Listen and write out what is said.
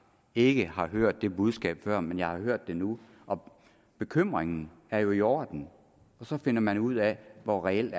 ikke har hørt det budskab før men jeg har hørt det nu og bekymringen er jo i orden så finder man ud af hvor reelt